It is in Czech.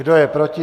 Kdo je proti?